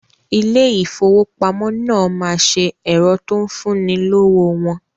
Ilé ìfowópamọ́ náà ma ṣe ẹ̀rọ tó ń fún ni lówó wọn